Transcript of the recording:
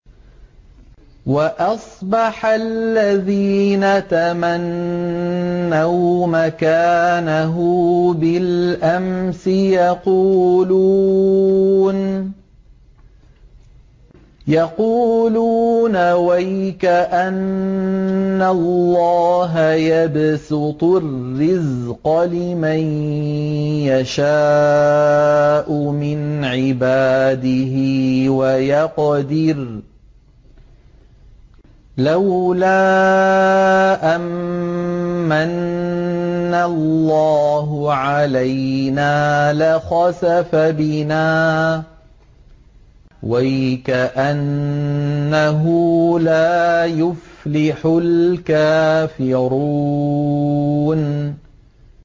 وَأَصْبَحَ الَّذِينَ تَمَنَّوْا مَكَانَهُ بِالْأَمْسِ يَقُولُونَ وَيْكَأَنَّ اللَّهَ يَبْسُطُ الرِّزْقَ لِمَن يَشَاءُ مِنْ عِبَادِهِ وَيَقْدِرُ ۖ لَوْلَا أَن مَّنَّ اللَّهُ عَلَيْنَا لَخَسَفَ بِنَا ۖ وَيْكَأَنَّهُ لَا يُفْلِحُ الْكَافِرُونَ